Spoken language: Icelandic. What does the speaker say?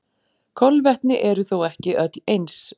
Kolvetni eru þó ekki öll eins.